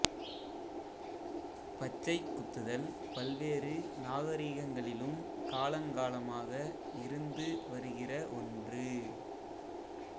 பச்சைக் குத்துதல் பல்வேறு நாகரிகங்களிலும் காலங்காலமாக இருந்து வருகிற ஒன்று